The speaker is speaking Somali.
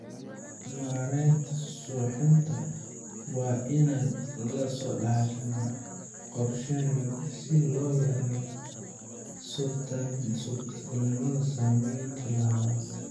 Maareynta suuxinta waa in si taxadar leh loo qorsheeyaa si loo yareeyo suurtagalnimada saameynta labaad.